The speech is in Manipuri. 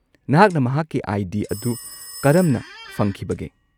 ꯅꯍꯥꯛꯅ ꯃꯍꯥꯛꯀꯤ ꯑꯥꯏ. ꯗꯤ. ꯑꯗꯨ ꯀꯔꯝꯅ ꯐꯪꯈꯤꯕꯒꯦ?